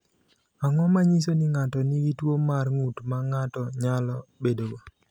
Ang’o ma nyiso ni ng’ato nigi tuwo mar ng’ut ma ng’ato nyalo bedogo?